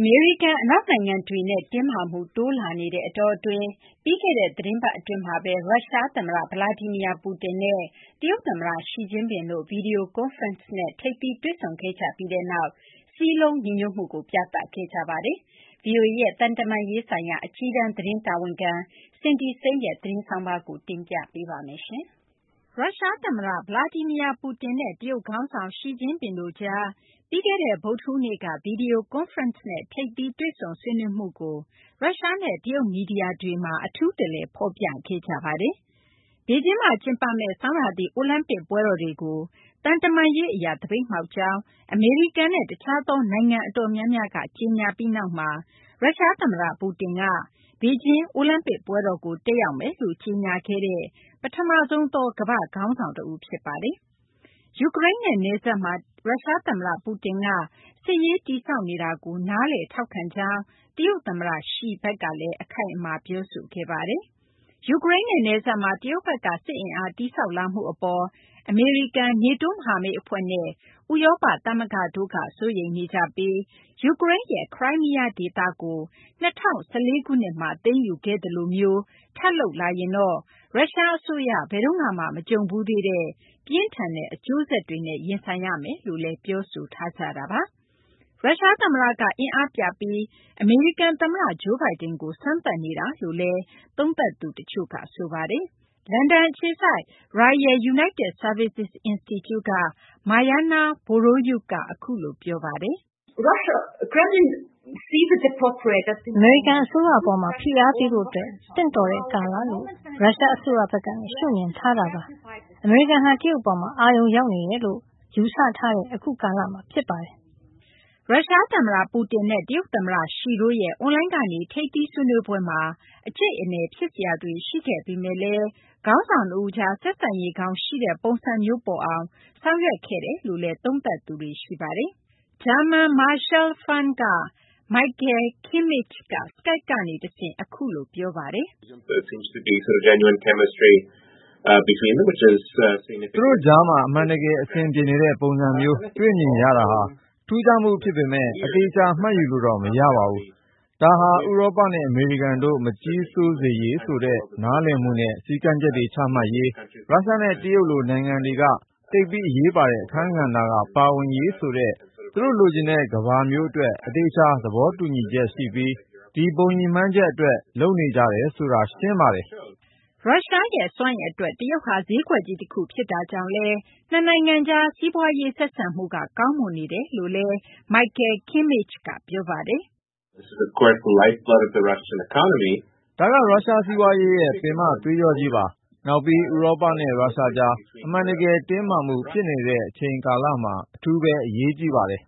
အမေရိကန်၊ အနောက်နိုင်ငံတွေနဲ့ တင်းမာမှု တိုးများလာနေတဲ့ အတောအတွင်း ပြီးခဲ့တဲ့ သီတင်းပတ်အတွင်းမှာ ရုရှားသမ္မတ Vladimir Putin နဲ့ တရုတ်သမ္မတ Xi Jinping တို့ ဗွီဒီယိုကွန်းဖရင့်နဲ့ ထိပ်သီး တွေ့ဆုံခဲ့ကြပြီးနောက် စည်းလုံးညီညွတ်မှုကို ပြသခဲ့ကြပါတယ်။ ဗွီအိုအေရဲ့ သံတမန်ရေးဆိုင်ရာ အကြီးတန်း သတင်းတာဝန်ခံ Cindy Saine ရဲ့ သတင်းဆောင်းပါးကို မသိင်္ဂီထိုက် ပြောပြပေးပါမယ်။ ရုရှားသမ္မတ Vladimir Putin နဲ့ တရုတ်ခေါင်းဆောင် Xi Jinping တို့ကြား ပြီးခဲ့တဲ့ ဗုဒ္ဓဟူးနေ့က ဗွီဒီယိုကွန်းဖရင့်နဲ့ ထိပ်သီး တွေ့ဆုံဆွေးနွေးမှုကို ရုရှားနဲ့ တရုတ် မီဒီယာတွေက အထူးတလည် ဖော်ပြခဲ့ကြပါတယ်။ ဘေဂျင်းမှာကျင်းပမယ့် ဆောင်းရာသီ အိုလံပစ်ပွဲတော်တွေကို သံတမန်ရေးအရ သပိတ်မှောက်ကြောင်း အမေရိကန်နဲ့ တခြားသော နိုင်ငံအတော်များများက ကြေညာပြီးနောက်မှာ ရုရှားသမ္မတ Putin က ဘေဂျင်းအိုလံပစ်ပွဲတော်ကို တက်ရောက်မယ်လို့ ကြေညာခဲ့တဲ့ ပထမဆုံးသော ကမ္ဘာ့ခေါင်းဆောင် ဖြစ်ပါတယ်။ ယူကရိန်းနဲ့ နယ်စပ်မှာ ရုရှားသမ္မတ Putin က စစ်ရေး တည်ဆောက်နေတာကို နားလည်ထောက်ခံကြောင်း တရုတ်သမ္မတ Xi ဘက်ကလည်း အခိုင်အမာ ပြောခဲ့ပါတယ်။ ယူကရိန်းနဲ့ နယ်စပ်မှာ ရုရှားဘက်က စစ်အင်အား တည်ဆောက်လာမှု အပေါ် အမေရိကန်၊ NATO မဟာမိတ်အဖွဲ့နဲ့ ဥရောပသမဂ္ဂတို့က စိုးရိမ်နေကြပြီး ယူကရိန်းရဲ့ ခရိုင်းမီးယားဒေသကို ၂၀၁၄ ခုနှစ်မှာ သိမ်းယူခဲ့သလိုမျိုး ထပ်လုပ်လာရင် ရုရှားအစိုးရ ဘယ်တုန်းကမှ မကြုံဘူးသေးတဲ့ ပြင်းထန်တဲ့ အကျိုးဆက်တွေနဲ့ ရင်ဆိုင်ရမယ်လို့လည်း ပြောဆိုထားကြတာပါ။ ရုရှားသမ္မတက အင်အားပြပြီး အမေရိကန်သမ္မတ Joe Biden ကို စမ်းသပ်နေတာလို့လည်း သုံးသပ်သူတချို့ ရှိပါတယ်။ လန်ဒန်အခြေစိုက် Royal United Services Institute က Maryna Vorotnyuk က အခုလို ပြောပါတယ်။ “အမေရိကန်အစိုးရ အပေါ်မှာ ဖိအားပေးဖို့ သင့်တော်တဲ့ကာလလို့ ရုရှားအစိုးရဘက်က ရှုမြင်ထားတာပါ။ အမေရိကန်ဟာ တရုတ်အပေါ် အာရုံရောက်နေတယ်လို့ ယူဆထားတဲ့ အခုကာလမှာ ဖြစ်ပါတယ်။” ရုရှားသမ္မတ Putin နဲ့ တရုတ်သမ္မတ Xi တို့ရဲ့ အွန်လိုင်းကနေ ထိပ်သီးဆွေးနွေးပွဲမှာ အကြိတ်အနယ် ဖြစ်စရာတွေ ရှိခဲ့ပေမယ့်လည်း ခေါင်းဆောင်နှစ်ဦးကြား ဆက်ဆံရေးကောင်းရှိတဲ့ ပုံစံမျိုး ပေါ်အောင် ဆောင်ရွက်ခဲ့ကြတယ်လို့လည်း သုံးသပ်သူတွေလည်း ရှိပါတယ်။ German Marshall Fund က Michael Kimmage က Skype ကနေတဆင့် အခုလို ပြောပါတယ်။ “သူတို့ကြားမှာ အမှန်တကယ် အဆင်ပြေနေတဲ့ပုံစံမျိုး တွေ့မြင်ရတာဟာ ထူးခြားမှု ဖြစ်ပေမယ့် အသေအချာ မှတ်ယူလို့တော့ မရပါဘူး။ ဒါဟာဆိုရင် ဥရောပနဲ့ အမေရိကန်တို့ မကြီးစိုးစေရေးဆိုတဲ့ နားလည်မှုနဲ့ စည်းမျဉ်းတွေ ချမှတ်ရေး၊ ရုရှားနဲ့ တရုတ်လို နိုင်ငံတွေက သိပ်ပြီး အရေးပါတဲ့ အခန်းကဏ္ဍက ပါဝင်ရေးဆိုတဲ့ သူတို့လိုချင်တဲ့ ကမ္ဘာမျိုးအတွက် အသေအချာ သဘောတူညီချက်ရှိပြီး ဒီဘုံရည်မှန်းချက်အတွက် လုပ်နေကြတယ်ဆိုတာ ရှင်းပါတယ်။” ရုရှားရဲ့ စွမ်းအင်အတွက် တရုတ်ဟာ ဈေးကွက်ကြီးတခု ဖြစ်တာကြောင့်လည်း နှစ်နိုင်ငံကြား စီးပွားရေး ဆက်ဆံမှုကလည်း ကောင်းမွန်နေကြောင်း Michael Kimmage က ပြောပါတယ်။ “ဒါက ရုရှား စီးပွားရေးရဲ့ ပင်မသွေးကြောကြီးပါ။ နောက်ပြီး ဥရောပနဲ့ ရုရှားကြား အမှန်တကယ် တင်းမာမှုဖြစ်နေတဲ့ အချိန်ကာလမှာ အထူးပဲ အရေးကြီးပါတယ်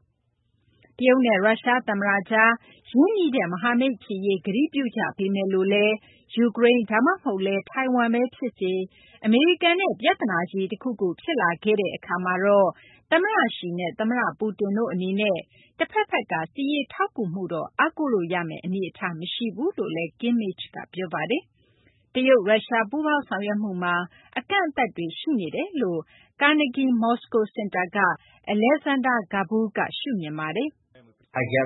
။” တရုတ်နဲ့ ရုရှား သမ္မတကြား ရင်းနှီးတဲ့ မဟာမိတ်ဖြစ်ရေး ကတိပြုကြပေမယ်လို့လည်း ယူကရိန်း ဒါမှမဟုတ်လည်း ထိုင်ဝမ်ပဲဖြစ်စေ၊ အမေရိကန်နဲ့ ပြဿနာကြီး တခုခု ဖြစ်လာတဲ့ အခါမှာတော့ သမ္မတ Xi နဲ့ သမ္မတ Putin တို့အနေနဲ့ တဖက်ဖက်က စစ်ရေးထောက်ကူမှုတော့ အားကိုးလို့ရမယ့် အနေအထား မရှိကြောင်းလည်း Kimmage က ပြောပါတယ်။ တရုတ်-ရုရှား ပူးပေါင်းဆောင်ရွက်မှုမှာ အကန့်အသတ်တွေ ရှိနေတယ်လို့ Carnegie Moscow စင်တာက Alexander Gabuev က ရှုမြင်ပါတယ်။ “ရု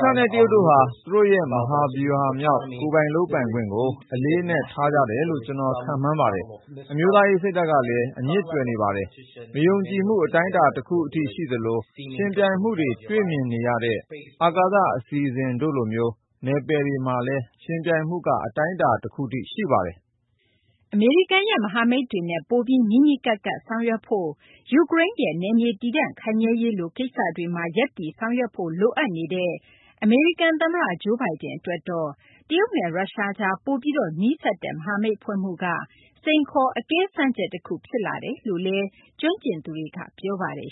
ရှားနဲ့ တရုတ်တို့ဟာ သူတို့ရဲ့ မဟာဗျူဟာမြောက် ကိုယ်ပိုင်လုပ်ပိုင်ခွင့်ကို အလေးအနက် ထားကြတယ်လို့ ကျနော် ခန့်မှန်းပါတယ်။ အမျိုးသားရေး စိတ်ဓာတ်ကလည်း အမြစ်တွယ်နေပါတယ်။ မယုံကြည်မှု အတိုင်းအတာ တခုအထိ ရှိသလို ယှဉ်ပြိုင်မှုတွေ တွေ့မြင်နေရတဲ့ အာကာသ အစီအစဉ်တို့လိုမျိုး နယ်ပယ်တွေမှာလည်း ယှဉ်ပြိုင်မှုက အတိုင်းအတာ တခုအထိ ရှိပါတယ်။” အမေရိကန်ရဲ့ မဟာမိတ်တွေနဲ့ ပိုပြီး နီးနီးကပ်ကပ် ဆောင်ရွက်ဖို့၊ ယူကရိန်းရဲ့ နယ်မြေ တည်တံ့ခိုင်မြဲရေးလို ကိစ္စတွေမှာလည်း ရပ်တည်ဆောင်ရွက်ဖို့ လိုအပ်နေတဲ့ အမေရိကန်သမ္မတ Joe Biden အတွက်တော့ တရုတ်နဲ့ ရုရှားကြား ပိုပြီးနီးစပ်တဲ့ မဟာမိတ်ဖွဲ့မှုက စိန်ခေါ် အကဲစမ်းချက်တခု ဖြစ်လာကြောင်းလည်း ကျွမ်းကျင်သူတွေက ပြောပါတယ်